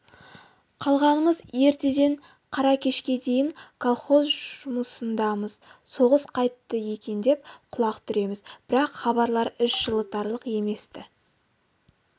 қалғанымыз ертеден қара кешке дейін колхоз жұмысындамыз соғыс қайтті екен деп құлақ түреміз бірақ хабарлар іш жылытарлық емес-ті